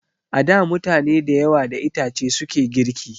A da mutane da yawa da itace suke girki